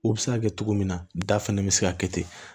O bɛ se ka kɛ cogo min na da fɛnɛ bɛ se ka kɛ ten